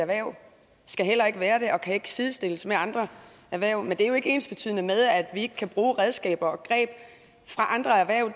erhverv skal heller ikke være det og kan ikke sidestilles med andre erhverv men det er jo ikke ensbetydende med at vi ikke kan bruge redskaber og greb fra andre erhverv